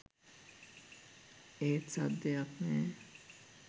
ඒත් සද්දයක් නෑ.